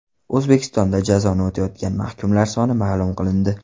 O‘zbekistonda jazoni o‘tayotgan mahkumlar soni ma’lum qilindi.